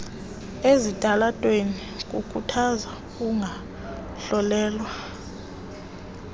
ezitalatweni kukhuthaza ukungahlonelwa